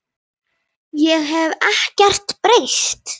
Ég hef ekkert breyst!